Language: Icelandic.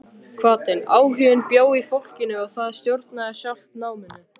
Hvatinn, áhuginn bjó í fólkinu og það stjórnaði sjálft náminu.